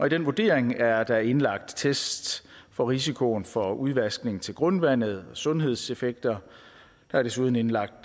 i den vurdering er der indlagt tests for risikoen for udvaskning til grundvandet og sundhedseffekter der er desuden indlagt